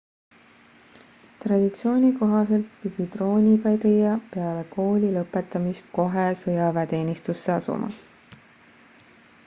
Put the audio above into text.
traditsiooni kohaselt pidi troonipärija peale kooli lõpetamist kohe sõjaväeteenistusse asuma